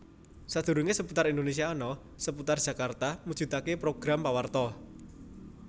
Sadurunge Seputar Indonésia ana Seputar Jakarta mujudake program pawarta